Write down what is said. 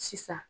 Sisan